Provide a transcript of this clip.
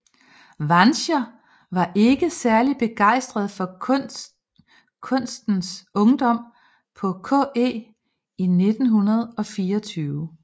Wanscher var ikke særlig begejstret for kunstens ungdom på KE i 1924